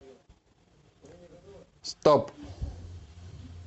стоп